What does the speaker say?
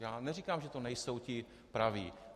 Já neříkám, že to nejsou ti praví.